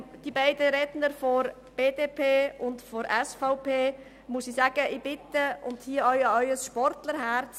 Zu den beiden Sprechern der BDP und der SVP muss ich Folgendes sagen: Ich bitte Sie und appelliere an ihr Sportlerherz!